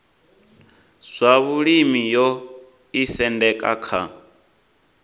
zwa vhulimi yo isendeka kha